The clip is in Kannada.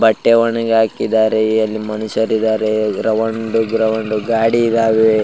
ಬಟ್ಟೆ ಒಣಗಿ ಹಾಕಿದ್ದಾರೆ ಏಳಿ ಮನುಷ್ಯರಿದ್ದಾರೆ ಗ್ರವಂಡ್ ಗ್ರವಂಡ್ ಗಾಡಿ ಇದ್ದವೇ.